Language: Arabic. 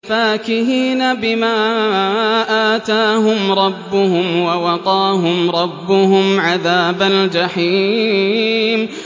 فَاكِهِينَ بِمَا آتَاهُمْ رَبُّهُمْ وَوَقَاهُمْ رَبُّهُمْ عَذَابَ الْجَحِيمِ